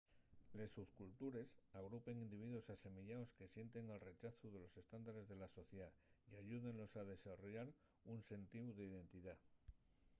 les subcultures agrupen individuos asemeyaos que sienten el rechazu de los estándares de la sociedá y ayúdenlos a desarrollar un sentíu d’identidá